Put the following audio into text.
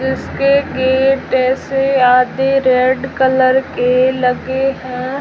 इसके गेट ऐसे आधे रेड कलर के लगे हैं।